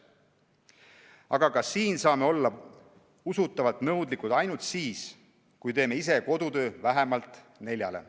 Aga ka siin saame olla usutavalt nõudlikud ainult siis, kui teeme ise kodutöö vähemalt hindele "neli".